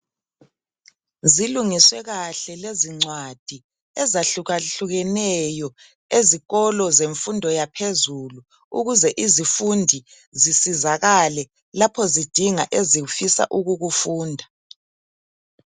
Zilungiswe kahle lezincwadi ezahlukehlukeneyo ezikolo zemfundo yaphezulu, ukuze izifundi zisizakale lapho zidinga ezifisa ukukufunda